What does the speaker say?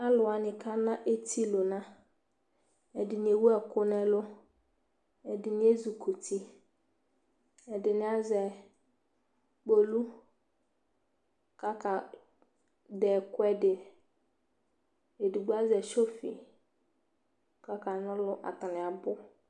Alʋ wanɩ kana etilʋna Ɛdɩnɩ ewu ɛkʋ nʋ ɛlʋ Ɛdɩnɩ ezikuti Ɛdɩnɩ azɛ kpolu kʋ akadɛ ɛkʋɛdɩ Edigbo azɛ sofɩ kʋ akana ɔlʋ Atanɩ abʋ